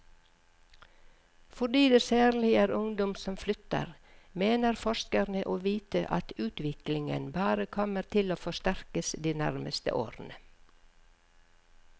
Fordi det særlig er ungdom som flytter, mener forskerne å vite at utviklingen bare kommer til å forsterkes de nærmeste årene.